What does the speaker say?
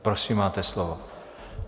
Prosím, máte slovo.